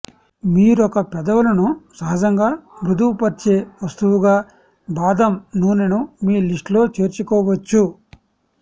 మరొక పెదవులను సహజంగా మృదువుపర్చే వస్తువుగా బాదం నూనెను మీ లిస్టులో చేర్చుకోవచ్చు